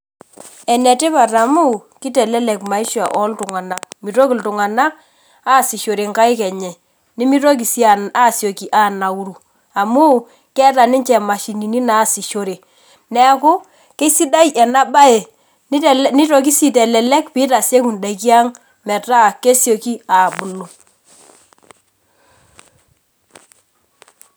Enetipat amu kitelelek maisha oltung'anak mitoki lltung'anak aasishore nkaik enye, nimitoki asioki anauru amu keeta ninche mashinini naasishore neakukesidai enabae nitoki si aitelek pitasieku ndaki aang metaa kesiaki abulu.